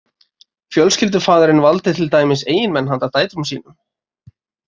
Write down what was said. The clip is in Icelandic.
Fjölskyldufaðirinn valdi til dæmis eiginmenn handa dætrum sínum.